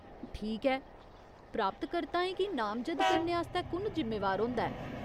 ठीक ऐ, हासलकर्ताएं गी नामजद करने आस्तै कु'न जिम्मेवार होंदा ऐ ?